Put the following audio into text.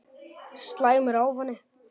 Slæmur ávani